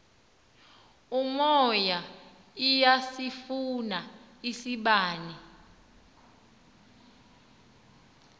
umoya iyasifuna isibane